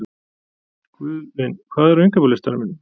Guðvin, hvað er á innkaupalistanum mínum?